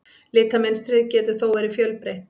Litamynstrið getur þó verið fjölbreytt.